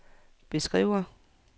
beskriver